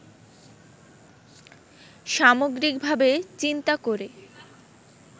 সামগ্রিকভাবে চিন্তা করে